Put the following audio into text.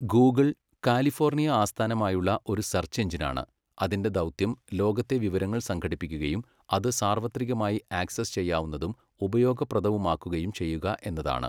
Google, California ആസ്ഥാനമായുള്ള ഒരു search എഞ്ചിനാണ്, അതിന്റെ ദൗത്യം ലോകത്തെ വിവരങ്ങൾ സംഘടിപ്പിക്കുകയും അത് സാർവത്രികമായി ആക്സസ് ചെയ്യാവുന്നതും ഉപയോഗപ്രദവുമാക്കുകയും ചെയ്യുക എന്നതാണ്.